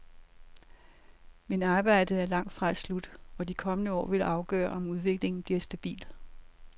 Men arbejdet er langt fra slut, og de kommende år vil afgøre om udviklingen bliver stabil.